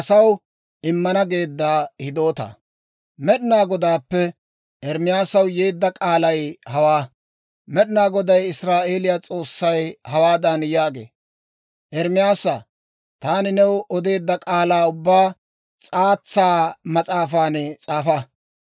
Med'inaa Goday Israa'eeliyaa S'oossay hawaadan yaagee; «Ermaasaa, taani new odeedda k'aalaa ubbaa s'aatsa mas'aafan s'aafa.